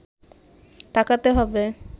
তাকাতে হবে